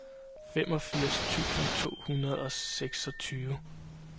femogfirs tusind to hundrede og seksogtyve